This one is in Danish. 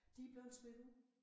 De blevet smidt ud